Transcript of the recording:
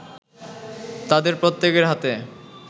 তাদের প্রত্যেকের হাতে